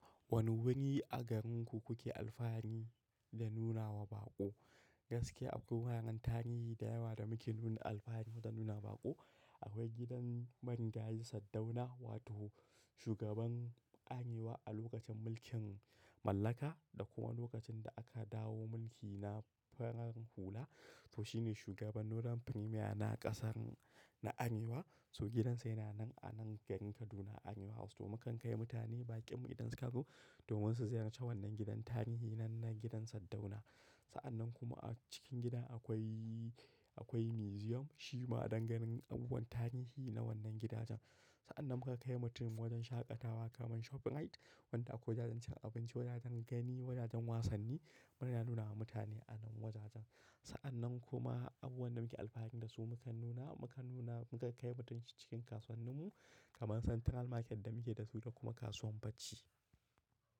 Wane wuri a garinku kuke alfahari da nunawa baƙo? Gaskiya abubuwan tarihi da yawa da muke nuna alfahari da su da nuna baƙo. Akwai gidan Marigayi Saddauna wato shugaban Arewa a lokacin mulkin mallaka da kuma lokacin da aka dawo mulki na farar hula. To shi ne shugaban northern Premier na ƙasar na Arewa. So gidansa yana nan a nan garin Kaduna Arewa House. To mukan kai mutane baƙin mu idan suka zo domin su ziyarci wannan gidan tarihi nan na gidan Saddauna. Sa'annan kuma a cikin gidan akwai, akwai museum. Shi ma a dan ganin abubuwan tarihi na wannan gidajen. Sa'annan muka kai mutum wajen shaƙatawa kamar shoprite wanda akwai jajincin abinci, wajajen gani, wajajen wasanni. Muna nuna wa mutane a nan wajajen. Sa'annan kuma abubuwan da muke alfahari da su mukan nuna, mukan nuna, muka kai mutum cikin kasuwannin mu kamar Central Market da muke da su da kuma kasuwan barci.